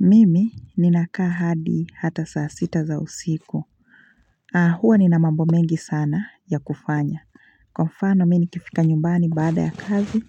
Mimi ninakaa hadi hata saa sita za usiku na huwa nina mambo mengi sana ya kufanya Kwa mfano mimi nikifika nyumbani baada ya kazi